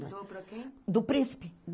doou para quem? Do príncipe